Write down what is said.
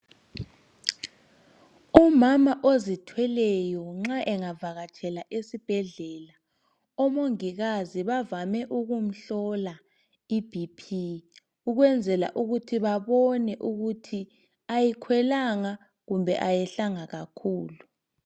umama ozithweleyo nxa engavakathela esibhedlela omongikakazi bavame ukumhlola i BP ukwenzela ukuthi babone ukuthi ayikwelanga kumbe ayehlanga kakhulu